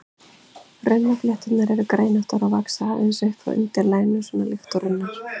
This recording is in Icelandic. Runnaflétturnar eru greinóttar og vaxa aðeins upp frá undirlaginu, svona líkt og runnar.